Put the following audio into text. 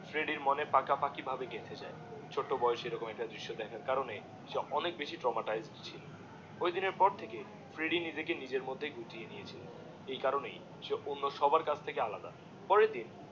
ফ্রেডির মনে পাকা পাকি ভাবে গেছে যায় ছোট বোয়েসেল রম একটা দৃশ্য দেখার কারণে সে অনেক বেশি Traumatized ছিল ঐদিনের পর থেকে ফ্রেডি নিজেকে নিজের মধ্যেই গুটিয়ে নিয়েছিল এই কারণেই সে অন্য সবার কাছ থেকে আলাদা পরের দিন